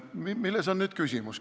Milles on nüüd küsimus?